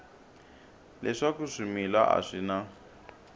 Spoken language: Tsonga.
leswaku swimila a swi na